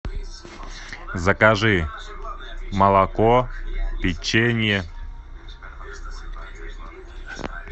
закажи молоко печенье